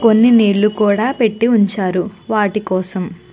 కొని నిలు కూడా పెట్టి ఉనచారు వాటి కోసం.